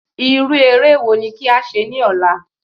Irú eré wo ni kí a ṣe ní ọ̀la?